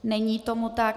Není tomu tak.